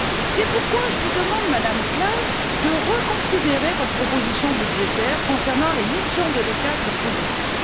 C'est pourquoi je vous demande, Madame Klass, de reconsidérer votre proposition budgétaire concernant les missions de l'ECHA sur ce dossier.